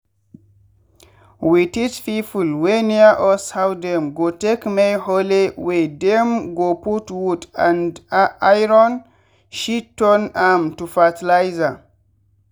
we teach people wey near us how dem go take make hole wey dem go put wood and iron shit turn am to fertiliser.